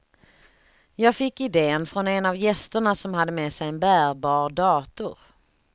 Jag fick idén från en av gästerna som hade med sig en bärbar dator.